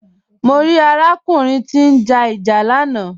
Mọ̀ rí arákùnrin Kọla tí n já ìjà lànà.